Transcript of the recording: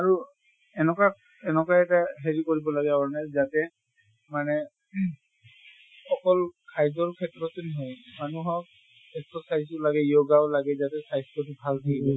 আৰু এনকা এনকা এটা হেৰি কৰিব লাগে যাতে মানে অকল খাদ্য়ৰ ক্ষেত্ৰতে নহয় মানুহক exercise ও লাগে yoga ও লাগে যাতে স্বাস্থ্য়তো ভালে থাকিব